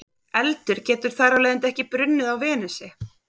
Eldur getur þar af leiðandi ekki brunnið á Venusi.